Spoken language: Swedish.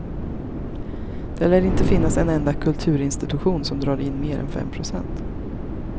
Det lär inte finnas en enda kulturinstitution som drar in mer än fem procent.